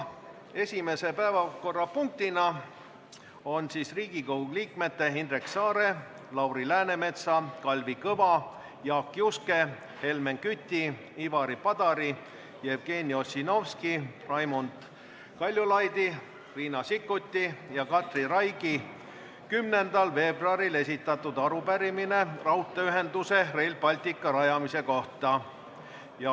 Esimene päevakorrapunkt on Riigikogu liikmete Indrek Saare, Lauri Läänemetsa, Kalvi Kõva, Jaak Juske, Helmen Küti, Ivari Padari, Jevgeni Ossinovski, Raimond Kaljulaiu, Riina Sikkuti ja Katri Raigi 10. veebruaril esitatud arupärimine raudteeühenduse Rail Balticu rajamise kohta.